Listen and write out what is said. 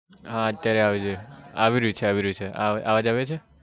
હા અત્યારે આવે છે આવી રહ્યું છે આવી રહ્યું છે અવાજ આવે છે?